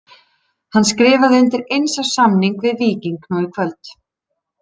Hann skrifaði undir eins árs samning við Víking nú í kvöld.